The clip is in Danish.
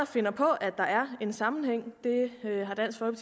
finder på at der er en sammenhæng det